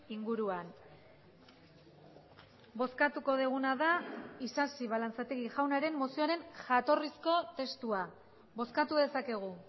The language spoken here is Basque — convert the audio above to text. inguruan bozkatuko duguna da isasi balantzategi jaunaren mozioaren jatorrizko testua bozkatu dezakegu